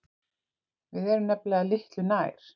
Við erum nefnilega litlu nær.